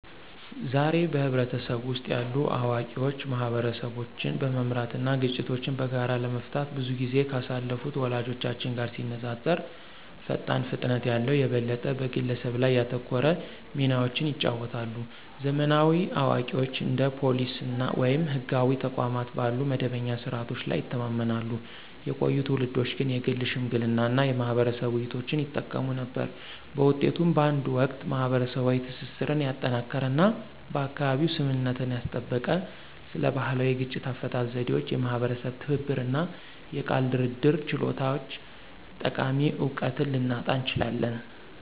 ዛሬ፣ በህብረተሰቡ ውስጥ ያሉ አዋቂዎች ማህበረሰቦችን በመምራት እና ግጭቶችን በጋራ ለመፍታት ብዙ ጊዜ ካሳለፉት ወላጆቻችን ጋር ሲነፃፀሩ ፈጣን ፍጥነት ያለው፣ የበለጠ በግለሰብ ላይ ያተኮረ ሚናዎችን ይጫወታሉ። ዘመናዊ አዋቂዎች እንደ ፖሊስ ወይም ህጋዊ ተቋማት ባሉ መደበኛ ስርዓቶች ላይ ይተማመናሉ፣ የቆዩ ትውልዶች ግን የግል ሽምግልና እና የማህበረሰብ ውይይቶችን ይጠቀሙ ነበር። በውጤቱም፣ በአንድ ወቅት ማህበረሰባዊ ትስስርን ያጠናከረ እና በአካባቢው ስምምነትን ያስጠበቀ ስለ ባህላዊ የግጭት አፈታት ዘዴዎች፣ የማህበረሰብ ትብብር እና የቃል ድርድር ችሎታዎች ጠቃሚ እውቀትን ልናጣ እንችላለን።